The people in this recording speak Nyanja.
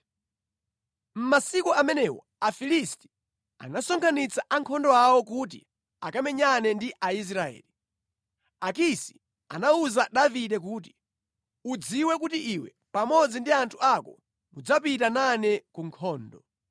Mʼmasiku amenewo Afilisti anasonkhanitsa ankhondo awo kuti akamenyane ndi Aisraeli. Akisi anawuza Davide kuti, “Udziwe kuti iwe pamodzi ndi anthu ako mudzapita nane ku nkhondo.”